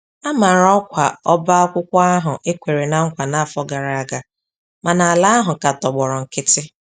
A mara ọkwa ọba akwụkwọ ahụ e kwere ná nkwa n'afọ gara aga, mana ala ahụ ka tọgbọrọ nkiti.